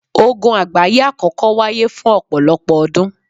Ogun àgbáyé àkọ́kọ́ wáyé fún ọ̀pọ̀lọpọ̀ ọdún